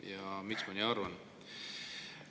Aga miks ma nii arvan?